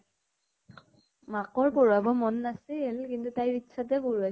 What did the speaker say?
মাকৰ পঢ়োৱাব মন নাছিল কিন্তু তাইৰ ইচ্ছাতে পঢ়োৱাইছে।